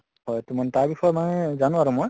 হয় তʼ মানে তাৰ বিষয়ে মানে জানো আৰু মই